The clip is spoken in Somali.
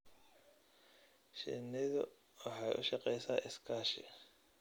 Shinnidu waxay u shaqeysaa iskaashi.